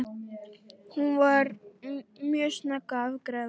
Hún var mjög snögg að afgreiða.